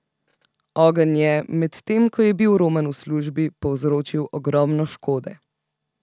Ogenj je, medtem ko je bil Roman v službi, povzročil ogromno škode.